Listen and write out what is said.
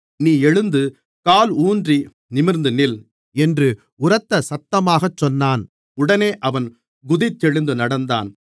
நீ எழுந்து காலூன்றி நிமிர்ந்து நில் என்று உரத்த சத்தமாகச் சொன்னான் உடனே அவன் குதித்தெழுந்து நடந்தான்